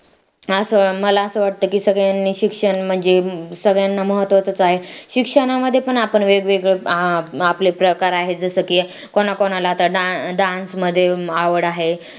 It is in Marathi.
असं मला असं वाटतं की सगळ्यांनी शिक्षण म्हणजे सगळ्यांना महत्त्वाचं आहे शिक्षणामध्ये पण आपण वेगवेगळे आपले प्रकार आहेत जसं की कोणा कोणाला da~dance मध्ये आवड आहे